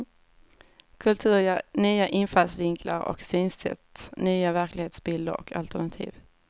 Kultur ger nya infallsvinklar och synsätt, nya verklighetsbilder och alternativ.